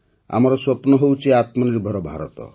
ଆମର ସ୍ୱପ୍ନ ହେଉଛି ଆତ୍ମନିର୍ଭର ଭାରତ